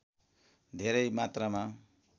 धेरै मात्रामा